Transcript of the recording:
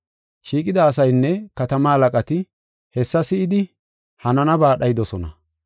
Shiiqida asaynne katama halaqati hessa si7idi hananaba dhaydosona.